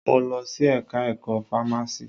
Mo lọ sí ẹka ẹ̀kọ́ fámási.